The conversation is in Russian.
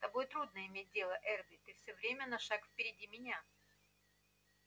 с тобой трудно иметь дело эрби ты всё время на шаг впереди меня